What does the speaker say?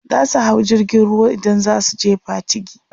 zasu hau jirgin ruwa idan zasu je Patigi